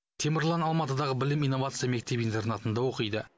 темірлан алматыдағы білім инновация мектеп интернатында оқиды